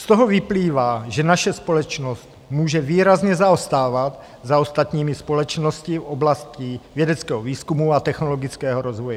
Z toho vyplývá, že naše společnost může výrazně zaostávat za ostatními společnostmi v oblasti vědeckého výzkumu a technologického rozvoje.